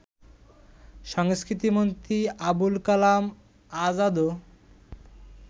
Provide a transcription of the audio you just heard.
সংস্কৃতি মন্ত্রী আবুল কালাম আযাদও